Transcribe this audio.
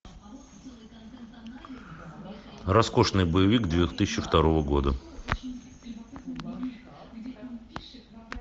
роскошный боевик две тысячи второго года